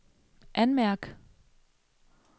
anmærk